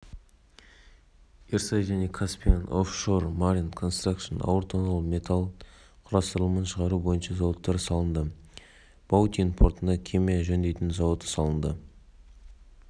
млрд газ өндіру жоспарлануда келесі жылдары жылына млн тонна мұнай және млрд газға дейін өндіруді